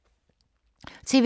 TV 2